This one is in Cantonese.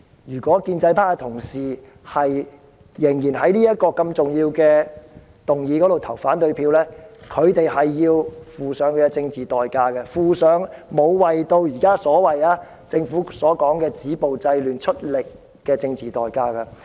如果建制派同事仍然就這項重要議案投反對票，便須付上政治代價，付上沒有為政府現在所謂"止暴制亂"出力的政治代價。